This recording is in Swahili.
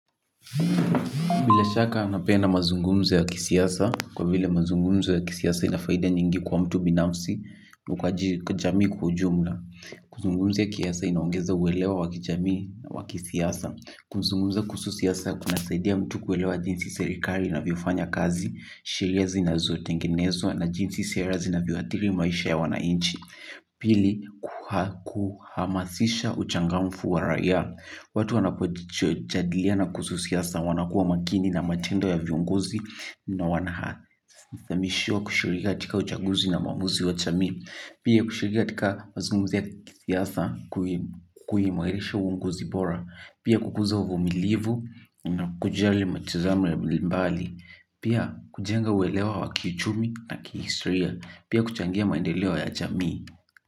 Bila shaka napenda mazungumzo ya kisiasa, kwa vile mazungumzo ya kisiasa ina faida nyingi kwa mtu binafsi, na kwa jamii kujumla. Kuzungumza kisiasa inaongeza uwelewa wa kijamii wa kisiasa. Kuzungumza kuhusu siasa kunasaidia mtu kuelewa jinsi serikali inavyofanya kazi, sheria zinazotengenezwa na jinsi sera zinavyoathiri maisha ya wananchi. Pili, kuhamasisha uchangamfu wa raia watu wanapojadiliana na kuhusu siasa wanakuwa makini na matendo ya viongozi na wanafahamishwa kushughulika katika uchanguzi na maamuzi wa jamii. Pia kushughulika katika mazungumzo ya kisiasa kuimarisha uongozi bora pia kukuza uvumilivu na kujali mitazamo mbali mbali. Pia kujenga uelewa wa kiuchumi na kihistoria pia kuchangia ya maendeleo ya jamii.